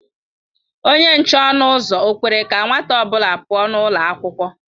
Onye nche ọnụ ụzọ ọ kwere ka nwata ọ bụla pụọ ​​n'ụlọ akwụkwọ?